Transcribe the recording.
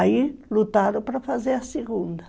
Aí lutaram para fazer a segunda.